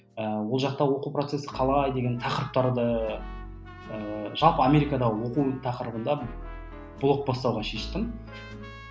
ы ол жақта оқу процесі қалай деген тақырыптарды ыыы жалпы америкадағы оқу тақырыбында блог бастауға шештім